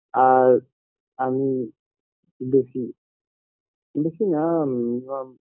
আর আমি বেশি বেশি না minimum